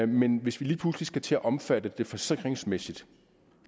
men hvis vi lige pludselig skal til at omfatte det forsikringsmæssigt